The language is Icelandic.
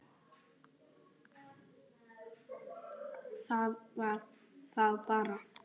Það var þá bara